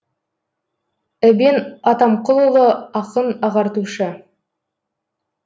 эбен атамқұлұлы ақын ағартушы